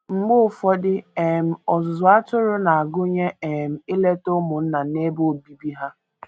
Mgbe ụfọdụ, um ọzụzụ atụrụ na - agụnye um ileta ụmụnna n’ebe obibi ha.